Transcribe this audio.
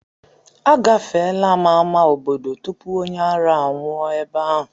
Agafeela m ámá obodo tupu onye ara anwụọ ebe ahụ.